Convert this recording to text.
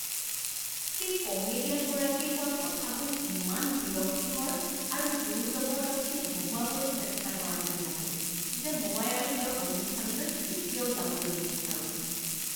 সেই কমেডিয়ানগৰাকীয়ে কোৱা কথাবোৰ ইমান বিৰক্তিকৰ আৰু জোৰজবৰদস্তি হহোঁৱাবলৈ চেষ্টা কৰা যেন লাগে যে মই আৰু তেওঁৰ অনুষ্ঠানলৈ কেতিয়াও যাবলৈ নিবিচাৰোঁ।